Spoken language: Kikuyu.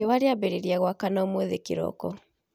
Riua rĩambĩrĩria kũratha umuthĩ kĩroko